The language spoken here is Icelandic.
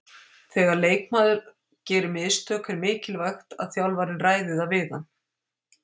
Þegar leikmaður gera mistök er mikilvægt að þjálfarinn ræði það við hann.